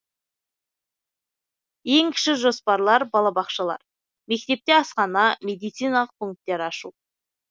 ең кіші жоспарлар балабақшалар мектепте асхана медициналық пунктер ашу